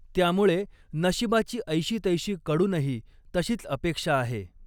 त्यामुळे नशिबाची ऐशी तैशीकडूनही तशीच अपेक्षा आहे.